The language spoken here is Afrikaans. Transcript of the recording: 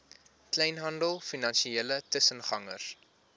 kleinhandel finansiële tussengangers